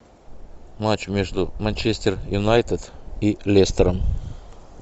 матч между манчестер юнайтед и лестером